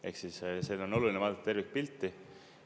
Ehk siis siin on oluline vaadata tervikpilti.